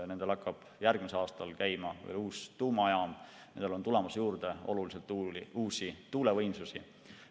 Nendel hakkab järgmisel aastal tööle uus tuumajaam ja oluliselt on tulemas juurde uusi tuulevõimsusi.